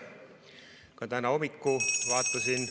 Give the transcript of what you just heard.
Ka täna hommikul vaatasin ...